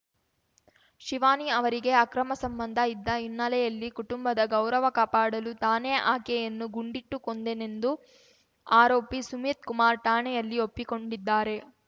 ಶಿವಾನಿ ಅವರಿಗೆ ಅಕ್ರಮ ಸಂಬಂಧ ಇದ್ದ ಹಿನ್ನೆಲೆಯಲ್ಲಿ ಕುಟುಂಬದ ಗೌರವ ಕಾಪಾಡಲು ತಾನೇ ಆಕೆಯನ್ನು ಗುಂಡಿಟ್ಟು ಕೊಂದ್ದೆನೆಂದು ಆರೋಪಿ ಸುಮಿತ್ ಕುಮಾರ್ ಠಾಣೆಯಲ್ಲಿ ಒಪ್ಪಿಕೊಂಡಿದ್ದಾರೆ